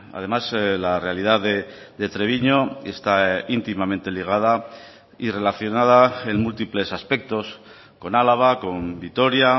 además la realidad de treviño está íntimamente ligada y relacionada en múltiples aspectos con álava con vitoria